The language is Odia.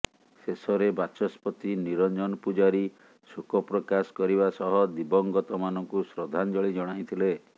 ଶେଷରେ ବାଚସ୍ପତି ନିରଞ୍ଜନ ପୂଜାରୀ ଶୋକ ପ୍ରକାଶ କରିବା ସହ ଦିବଂଗତ ମାନଙ୍କୁ ଶ୍ରଦ୍ଧାଞ୍ଜଳି ଜଣାଇଥିଲେ